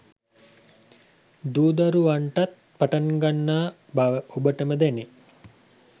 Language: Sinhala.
දුරුවෙන්නටත් පටන්ගන්නා බව ඔබටම දැනේ.